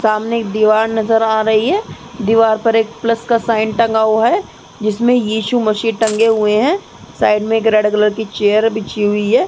सामने एक दीवार नजर आ रही है। दीवार पर एक प्लस का साइन टंगा हुआ है जिसमे येशु मसीह टंगे हुए हैं। साइड में रड कलर की चेयर लगी हुई है।